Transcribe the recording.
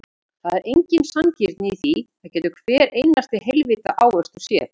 Það er engin sanngirni í því, það getur hver einasti heilvita ávöxtur séð.